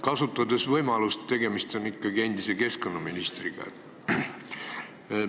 Kasutan võimalust, et tegemist on endise keskkonnaministriga.